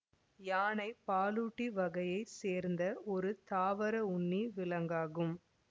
யானை பாலூட்டி வகையை சேர்ந்த ஒரு தாவர உண்ணி விலங்காகும்